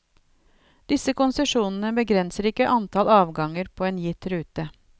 Disse konsesjonene begrenser ikke antall avganger på en gitt rute.